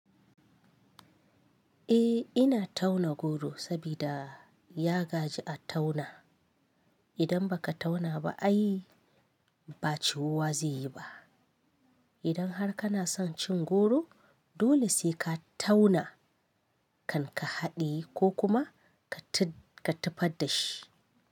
Eh ina tauna goro sabida ya gaji a tauna. Idan baka tauna ba ai ba ciwuwa zaiyi ba idan har kana son cin goro dole sai ka tauna kan ka haɗiye ko kuma ka ka tufad da shi.